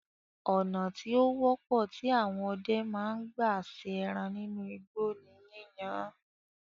Ònà tí ó wọ́pọ̀ tí àwọn ọdẹ ma ń gbà se ẹran nínú igbó ní yíyan án